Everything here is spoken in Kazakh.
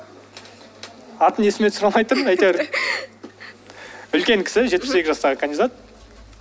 атын есіме түсіре алмай тұрмын әйтеуір үлкен кісі жетпіс сегіз жастағы кандидат